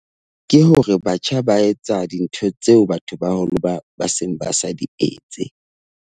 Ke hore batjha ba etsa dintho tseo batho ba baholo ba seng ba sa di etse.